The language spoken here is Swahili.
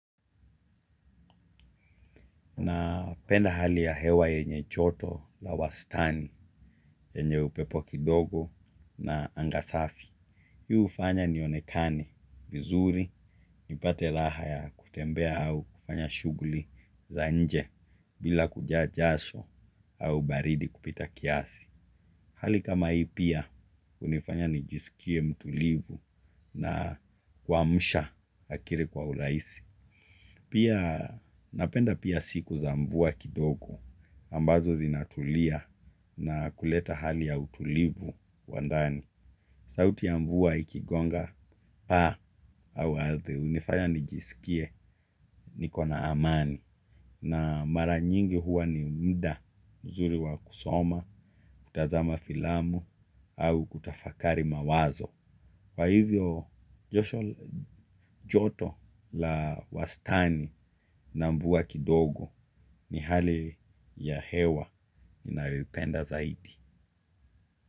Napenda hali ya hewa yenye joto la wastani, yenye upepo kidogo na anga safi. Hii hufanya nionekane vizuri nipate raha ya kutembea au kufanya shughuli za nje bila kujaa jasho au baridi kupita kiasi. Hali kama hii pia hunifanya nijiskie mtulivu na kuamsha akili kwa urajisi. Pia napenda pia siku za mvua kidogo ambazo zinatulia na kuleta hali ya utulivu wa ndani. Sauti ya mvua ikigonga pa au ardhi hunifanya nijiskie niko na amani na mara nyingi huwa ni muda mzuri wa kusoma kutazama filamu au kutafakari mawazo. Kwa hivyo joto la wastani na mvua kidogo ni hali ya hewa ninayoipenda zaidi.